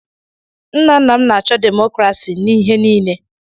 Nna nna m na-achọ demokrasi n'ihe niile.